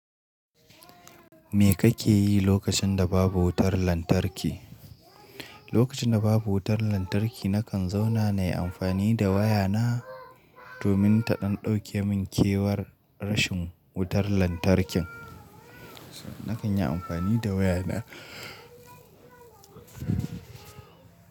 Me kake yi lokacin da babu wutar lantarki? Lokacin da babu wutar lantarki, nakan zauna na yi amfani da waya na domin ta ɗan ɗauke min kewar rashin wutar lantarkin. Nakan yi amfani da waya na.